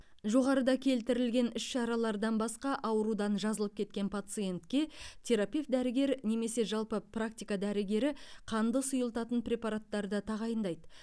жоғарыда келтірілген іс шаралардан басқа аурудан жазылып кеткен пациентке терапевт дәрігер немесе жалпы практика дәрігері қанды сұйылтатын препараттарды тағайындайды